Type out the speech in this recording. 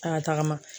A y'a tagama